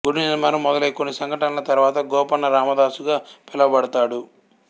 గుడి నిర్మాణము మొదలై కొన్ని సంఘటనల తరువాత గోపన్న రామదాసుగా పిలువబడతాడు